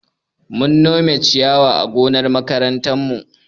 Mun nome ciyawa a gonar makarantarmu.